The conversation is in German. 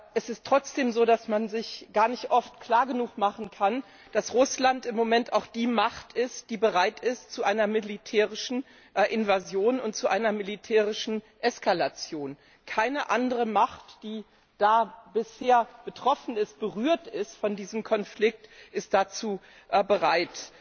Es ist trotzdem so, dass man sich gar nicht klar genug machen kann, dass Russland im Moment auch die Macht ist, die bereit ist zu einer militärischen Invasion und zu einer militärischen Eskalation. Keine andere Macht, die da bisher betroffen ist, berührt ist von diesem Konflikt, ist dazu bereit.